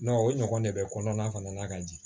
o ɲɔgɔn de bɛ kɔnɔna fana na ka di